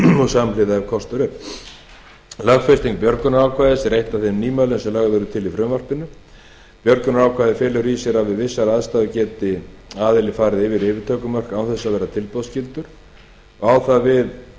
og samhliða ef kostur er lögfesting björgunarákvæðis er eitt af þeim nýmælum sem lögð eru til í frumvarpinu björgunarákvæðið felur í sér að við vissar aðstæður geti aðili farið yfir yfirtökumörk án þess að verða tilboðsskyldur á það við